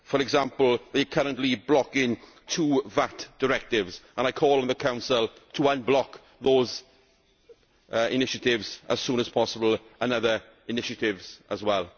For example, they are currently blocking two VAT directives and I call on the Council to unblock those initiatives as soon as possible and other initiatives as well.